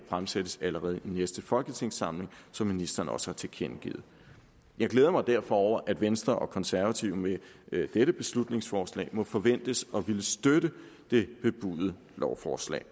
fremsættes allerede i næste folketingssamling som ministeren også har tilkendegivet jeg glæder mig derfor over at venstre og konservative med dette beslutningsforslag må forventes at ville støtte det bebudede lovforslag